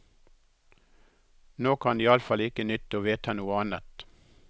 Nå kan det iallfall ikke nytte å vedta noe annet.